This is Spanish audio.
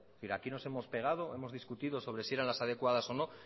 y aquí nos hemos pegado hemos discutido sobre si eran las adecuadas o no